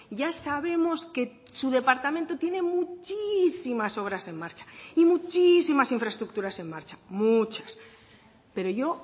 ya sabemos que su departamento tiene muchísimas obras en marcha y muchísimas infraestructuras en marcha muchas pero yo